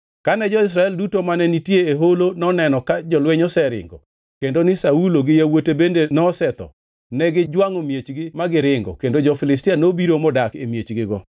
Kane jo-Israel duto mane nitie e holo noneno ka jolweny oseringo, kendo ni Saulo gi yawuote bende nosetho, negijwangʼo miechgi ma giringo. Kendo jo-Filistia nobiro modak e miechgigo.